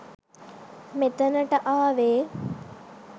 මෙතනට ආවේ